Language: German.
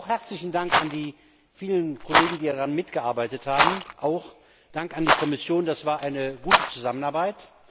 Auch herzlichen Dank an die vielen Kollegen, die daran mitgearbeitet haben, und an die Kommission, das war eine gute Zusammenarbeit.